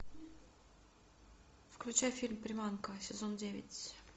включай фильм приманка сезон девять